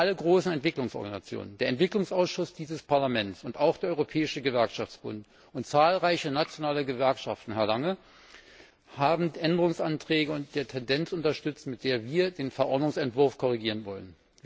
Alle großen Entwicklungsorganisationen, der Entwicklungsausschuss dieses Parlaments und auch der Europäische Gewerkschaftsbund und zahlreiche nationale Gewerkschaften, Herr Lange, haben die Änderungsanträge und die Tendenz unterstützt, mit der wir den Entwurf der Verordnung korrigieren wollen.